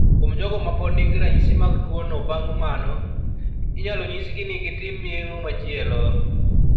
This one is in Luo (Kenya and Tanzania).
Kuom jogo mapod nigi ranyisi mag tuwono bang' mano, inyalo nyisgi ni gitim yeng'o machielo.